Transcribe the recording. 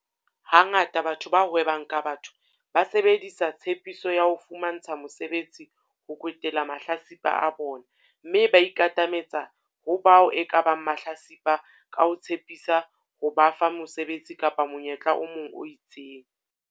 Hangata batho ba hwebang ka batho ba sebedisa tshepiso ya ho fumantsha mosebetsi ho kwetela mahlatsipa a bona mme ba ikatametsa ho bao ekabang mahlatsipa ka ho tshepisa ho ba fa mosebetsi kapa monyetla o mong o itseng.